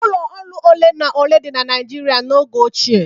Ụlọ ọrụ ole na ole dị na Naịjiria n'oge ochie.